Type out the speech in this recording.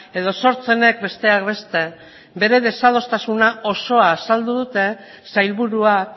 edo sortzenek besteak beste bere desadostasuna osoa azaldu dute sailburuak